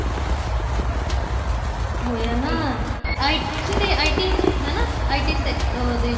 ਹੋਇਆ ਨਾ ਆਈ ਸੀ ਤੇ IT ਹਨਾ IT sector ਦੇ ਵਿੱਚ